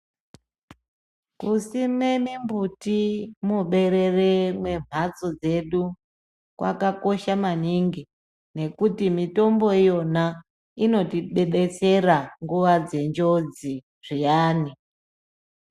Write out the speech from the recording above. Kusime mimbuti muberere mwemhatso dzedu kwakakosha maningi nekuti mitombo iyona inotidetsera nguwa dzenjodzi zviyani.